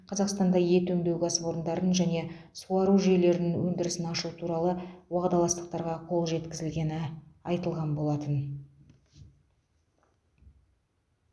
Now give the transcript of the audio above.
қазақстанда ет өңдеу кәсіпорындарын және суару жүйелерін өндірісін ашу туралы уағдаластықтарға қол жеткізілгені айтылған болатын